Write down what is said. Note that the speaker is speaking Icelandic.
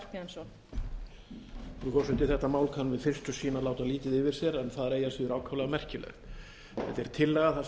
að síður ákaflega merkilegt þetta er tillaga þar sem leitað er heimildar alþingis til þess að